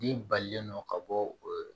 Den balilen don ka bɔ